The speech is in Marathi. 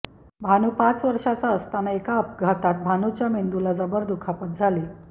भानू पाच वर्षांचा असताना एका अपघातात भानूच्या मेंदुला जबर दुखापत झाली